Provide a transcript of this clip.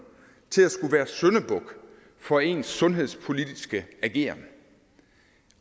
til at skulle være syndebuk for ens sundhedspolitiske ageren